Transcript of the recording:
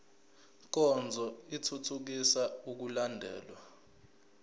nkonzo ithuthukisa ukulandelwa